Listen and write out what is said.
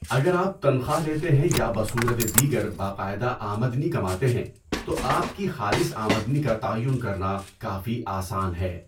اگر آپ تنخواہ لیتے ہیں یا بصورت دیگر باقاعدہ آمدنی کماتے ہیں تو آپ کی خالص آمدنی کا تعین کرنا کافی آسان ہے۔